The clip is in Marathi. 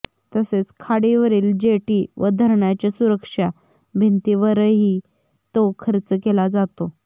तसेच खाडीवरील जेटी व धरणाच्या सुरक्षा भिंतींवरही तो खर्च केला जातो